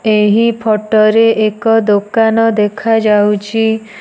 ଏହି ଫଟୋ ରେ ଏକ ଦୋକାନ ଦେଖା ଯାଉଚି।